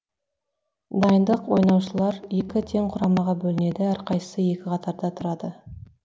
дайындық ойнаушылар екі тең құрамаға бөлінеді әрқайсысы екі қатарға тұрады